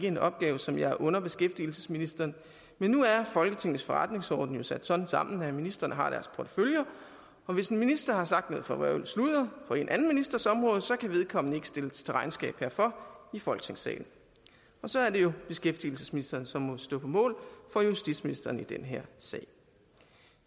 en opgave som jeg under beskæftigelsesministeren men nu er folketingets forretningsorden jo sat sådan sammen at ministrene har deres porteføljer og hvis en minister har sagt noget forvrøvlet sludder på en anden ministers område så kan vedkommende ikke stilles til regnskab herfor i folketingssalen og så er det jo beskæftigelsesministeren som må stå på mål for justitsministeren i den her sag